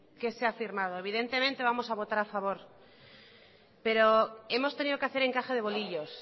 que se ha firmado evidentemente vamos a votar a favor pero hemos tenido que hacer encaje de bolillos